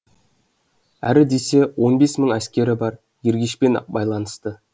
әрі десе он бес мың әскері бар ергешпен байланысты